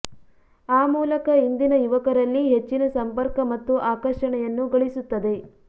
ಆ ಮೂಲಕ ಇಂದಿನ ಯುವಕರಲ್ಲಿ ಹೆಚ್ಚಿನ ಸಂಪರ್ಕ ಮತ್ತು ಆಕರ್ಷಣೆಯನ್ನು ಗಳಿಸುತ್ತದೆ